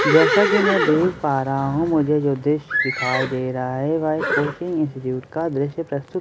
जैसा की मैं देख पा रहा हूँ मुझे जो दृशय दिखाई दे रहा है वह एक कोचिंग इंस्टिट्यूट का दृशय प्रस्तुत कर रहे हैं --